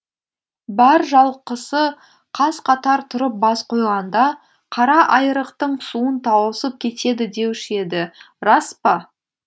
бар жалқысы қаз қатар тұрып бас қойғанда қара айрықтың суын тауысып кетеді деуші еді рас па